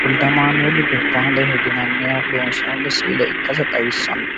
wolde amaanueeli dubaaleho yinanniha loonsoonni si''ile ikkasi xawissanno.